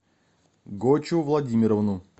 гочу владимировну